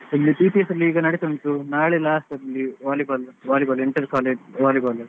ಈಗ CTC ಎಲ್ಲ ನಡಿತಾ ಉಂಟು ನಾಳೆ last ಅಲ್ಲಿ ಈಗ Volley ball volley ball inter college Volleyball .